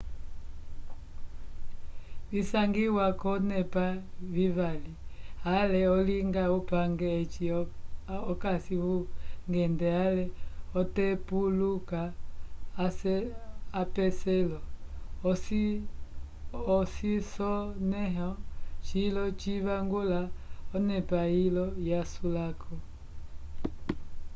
visangiwa k'olonepa vivali ale olinga upange eci okasi vungende ale otepuluka apeselo ocisonẽho cilo civangula onepa ilo yasulako